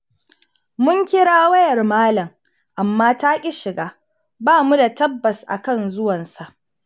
Mun kira wayar malam amma taƙi shiga, ba mu da tabbas a kan zuwansa.